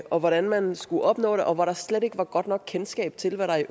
og hvordan man skulle opnå det og hvor der slet ikke var et godt nok kendskab til hvad der i